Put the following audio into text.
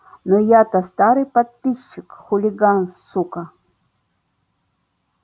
но я то старый подписчик хулиган сука